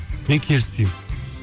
мен келіспеймін